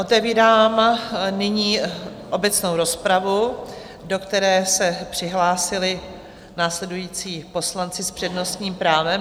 Otevírám nyní obecnou rozpravu, do které se přihlásili následující poslanci s přednostním právem.